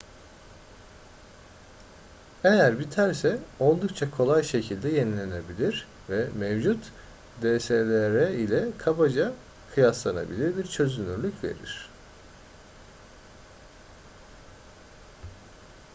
eğer biterse oldukça kolay şekilde yenilenebilir ve mevcut dslr ile kabaca kıyaslanabilir bir çözünürlük verir